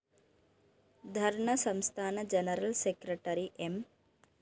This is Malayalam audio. ധര്‍ണ്ണ സംസ്ഥാന ജനറൽ സെക്രട്ടറി എം